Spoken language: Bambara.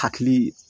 Hakili